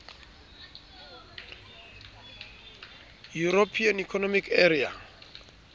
european economic area